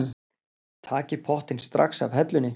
Takið pottinn strax af hellunni.